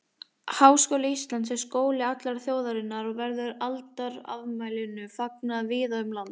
Háskóli Íslands er skóli allrar þjóðarinnar og verður aldarafmælinu fagnað víða um land.